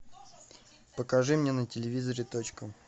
покажи мне на телевизоре точка